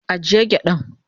agiye gyadan.